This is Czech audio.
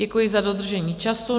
Děkuji za dodržení času.